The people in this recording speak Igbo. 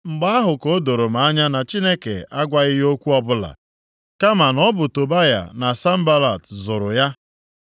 Mgbe ahụ ka o doro m anya na Chineke agwaghị ya okwu ọbụla, kama na ọ bụ Tobaya na Sanbalat zụrụ ya.